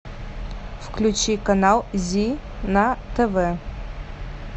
включи канал зи на тв